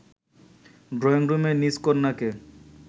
ড্রইংরুমে নিজ কন্যাকে